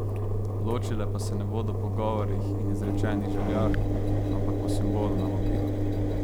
Ločile pa se ne bodo po govorih in izrečenih željah, ampak po simbolu na vabilu.